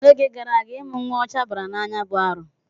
N'oge gara aga, ịmụ nwa ụcha bara n'anya bụ arụ.